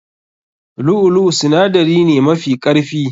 Lu'u lu'u sinadari ne mafi karfi.